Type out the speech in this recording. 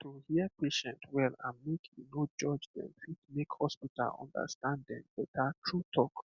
to hear patient well and make you no judge dem fit make hospital understand dem better true talk